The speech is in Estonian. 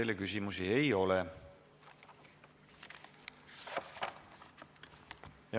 Teile küsimusi ei ole.